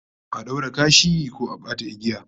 A daure kashi ko a bata igiya